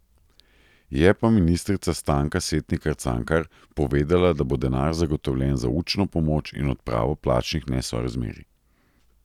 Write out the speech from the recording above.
Je pa ministrica Stanka Setnikar Cankar povedala, da bo denar zagotovljen za učno pomoč in odpravo plačnih nesorazmerij.